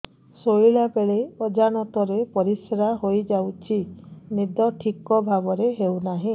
ଶୋଇଲା ବେଳେ ଅଜାଣତରେ ପରିସ୍ରା ହୋଇଯାଉଛି ନିଦ ଠିକ ଭାବରେ ହେଉ ନାହିଁ